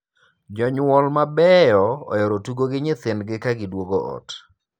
Jonyuol mabeyo ohero tugo gi nyithindgi ka giduogo ot.